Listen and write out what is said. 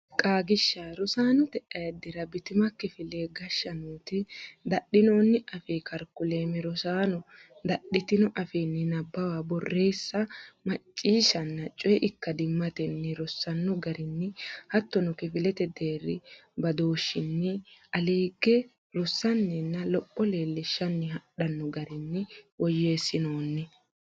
Qaagiishsha Rosaanote Ayiddira Bitima kifele geeshsha nooti dadhinoonni afii karikulame rosaano dadhitino afiinni nabbawa borreessa macciishshanna coyi ikkadimmatenni rossanno garinni hattono kifilete deerri badooshshinni aleegge rossanninna lopho leellishshanni hadhanno garinni woyyeessinoonni.